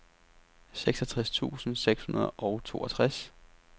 seksogtres tusind seks hundrede og toogtres